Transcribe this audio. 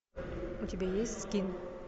у тебя есть скин